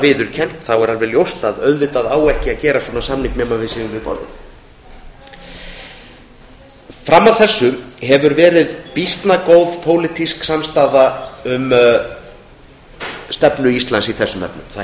viðurkennt varð ljóst að auðvitað á ekki að gera svona samning nema við séum við borðið fram að þessu hefur býsna góð pólitísk samstaða verið um stefnu íslands í þessum efnum það